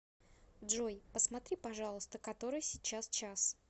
джой посмотри пожалуйста который сейчас час